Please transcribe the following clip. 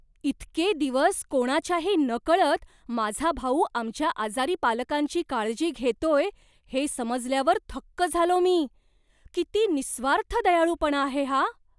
इतके दिवस कोणाच्याही नकळत माझा भाऊ आमच्या आजारी पालकांची काळजी घेतोय हे समजल्यावर थक्क झालो मी. किती निःस्वार्थ दयाळूपणा आहे हा.